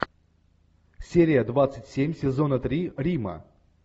серия двадцать семь сезона три рима